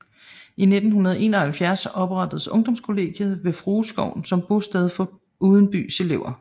I 1971 oprettedes ungdomskollegiet ved Frueskoven som bosted for udenbys elever